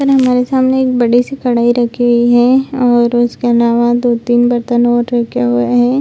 और हमारे सामने के बड़ी सी कढ़ाई रखी हुई है और उसका अलावा दो-तीन बर्तन और रखें हुए हैं।